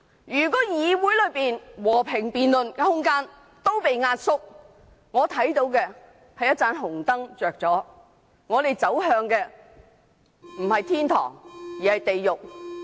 如果議會內和平辯論的空間被壓縮，我看到紅燈亮起，我們不是走向天堂而是地獄。